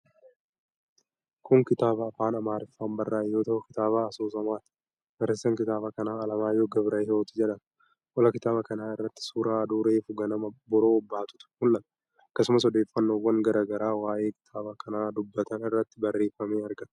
Kun kitaaba afaan Amaarriffaan barraa'e yoo ta'u, kitaaba asoosamaati. Barreessaan kitaaba kanaa Alamaayyoo Gabrahiwoot jedhama. Qola kitaaba kanaa irratti suura aduu reefu ganama obboroo baatutu mul'ata. Akkasumas odeeffannoowwan garaa garaa waa'ee kitaaba kanaa dubbatan irratti barreeffamee argama.